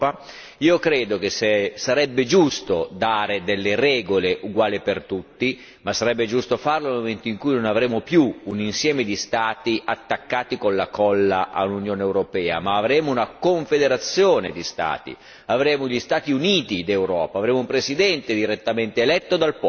Io credo che sarebbe giusto dare delle regole uguali per tutti, ma sarebbe giusto farlo nel momento in cui non avremo più un insieme di Stati attaccati con la colla all'Unione europea, ma avremo una confederazione di Stati, avremo gli Stati Uniti d'Europa, avremo un Presidente direttamente eletto dal popolo.